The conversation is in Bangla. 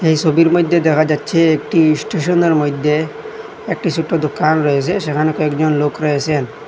এই ছবির মধ্যে দেখা যাচ্ছে একটি ইস্টেশনের মইধ্যে একটি ছোট্ট দোকান রয়েছে সেখানে একজন লোক রয়েছেন।